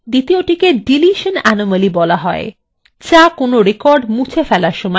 দ্বিতীয়টিকে deletion anomaly বলা হয়